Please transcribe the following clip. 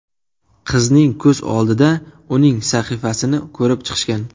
Qizning ko‘z oldida uning sahifasini ko‘rib chiqishgan.